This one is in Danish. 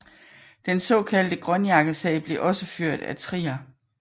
Den såkaldte grønjakkesag blev også ført af Trier